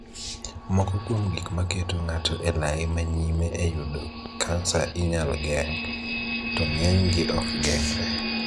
Moko kuom gik ma keto nga'to e lai ma nyime e yudo kansa inyal geng', to ng'enygi ok geng're